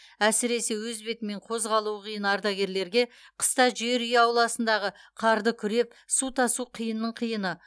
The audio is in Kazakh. әсіресе өз бетімен қозғалуы қиын ардагерлерге қыста жер үй ауласындағы қарды күреп су тасу қиынның қиыны